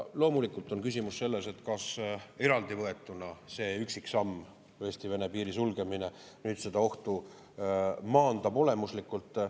Loomulikult on küsimus selles, et kas eraldi võetuna see üksiksamm, Eesti-Vene piiri sulgemine, nüüd seda ohtu maandab olemuslikult.